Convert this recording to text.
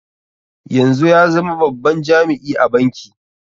Yanzu ya zama babban jami'i a banki.